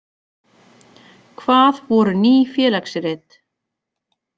Hvað voru Ný félagsrit?